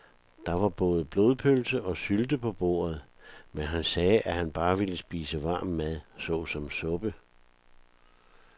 Der var både blodpølse og sylte på bordet, men han sagde, at han bare ville spise varm mad såsom suppe.